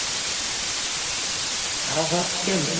હા હા કેમ નહિ.